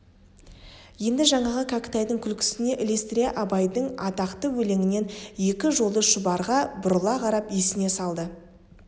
енді жаңағы кәкітайдың күлкісіне ілестіре абайдың атақты өлеңінен екі жолды шұбарға бұрыла қарап есіне салды